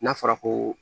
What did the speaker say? N'a fɔra ko